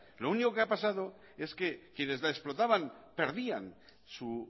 lo único que ha pasado es que quienes la explotaban perdían su